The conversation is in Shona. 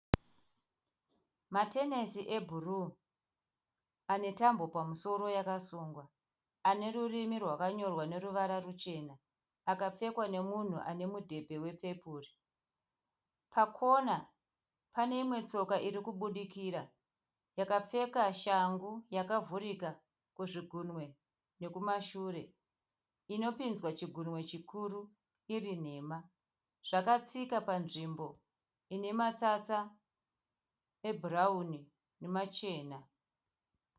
Matenesi ebhuruu anetambo pamusoro yakasungwa. Ane rurimi rakanyorwa neruvara ruchena. Akapfekwa nemunhu anemudhebhe wepepuru. Pakona paneimwe tsoka irikubudikira yakapfeka shangu yakavhurika kuzvigunwe nekumashure, inopinzwa chigumwe chikuru irinhema. Zvakatsika panzvimbo inematsatsa ebhurauni nemachena.